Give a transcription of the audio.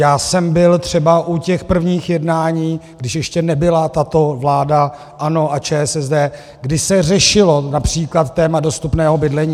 Já jsem byl třeba u těch prvních jednání, když ještě nebyla tato vláda ANO a ČSSD, kdy se řešilo například téma dostupného bydlení.